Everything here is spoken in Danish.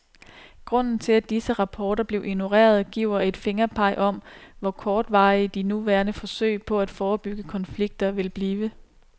Grunden til at disse rapporter blev ignoreret giver et fingerpeg om, hvor kortvarige de nuværende forsøg på at forebygge konflikter vil blive.